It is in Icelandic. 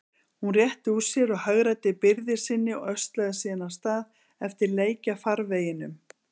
Hún rétti úr sér og hagræddi byrði sinni og öslaði síðan af stað eftir lækjarfarveginum.